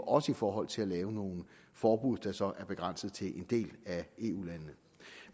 også i forhold til at lave nogle forbud der så er begrænset til en del af eu landene